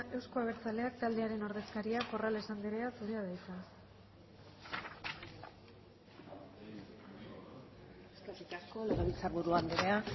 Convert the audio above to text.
euzko abertzaleak taldearen ordezkaria corrales anderea zurea da hitza eskerrik asko legebiltzarburu anderea